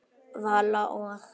Vala og